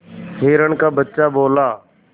हिरण का बच्चा बोला